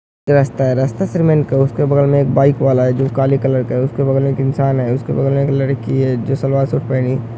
ये रास्ता है। रास्ते से उनके बगल में एक बाईक वाला है जो काले कलर का है। उसके बगल में एक इंसान है। उसके बगल में के लड़की है जो सलवार शूट पहनी --